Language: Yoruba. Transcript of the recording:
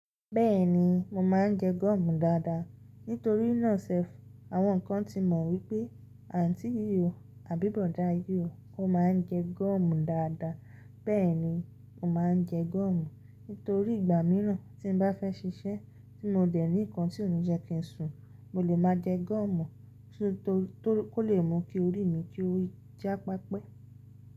Bẹ́ẹ̀ni, mo máa ń jẹ goọ̀mù dáadáa. Nítorí náà self àwọn kan ti mọ̀ wípé àǹtí yò ó àbí bọ̀dá yò ó, ó máa ń jẹ goọ̀mù dáadáa. Bẹ́ẹ̀ni, mo máa ń jẹ gúọ̀mù. Nítorí ìgbà mìíràn tí n bá fẹ́ ṣiṣẹ́ tí mo dẹ̀ ní nǹkan tí ó ní jẹ kí n sùn, mo lè máa jẹ goọ̀mù tó kó lè mú kí orí mi kí ó yí ji pepe.